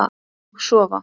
Og sofa.